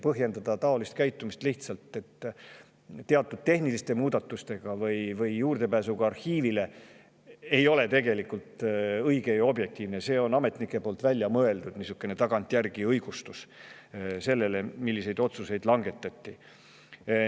Põhjendada taolist käitumist teatud tehniliste muudatustega või juurdepääsuga arhiivile ei ole tegelikult õige ega objektiivne, see on ametnike tagantjärgi välja mõeldud õigustus selle kohta, milliseid otsuseid langetati.